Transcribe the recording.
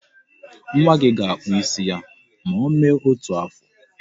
Nwa gị ga-akpụ isi ya ma o mee otu afọ.